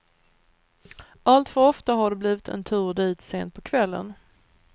Allt för ofta har det blivit en tur dit sent på kvällen.